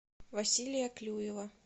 василия клюева